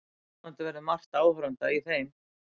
Vonandi verður margt áhorfenda í þeim